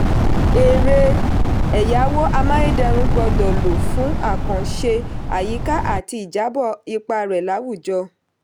erè ẹ̀yáwó amáyédẹrùn gbọ́dọ̀ lò fún àkànṣe àyíká àti ìjábọ̀ ipa rẹ̀ láwùjọ.